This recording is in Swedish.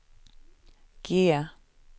G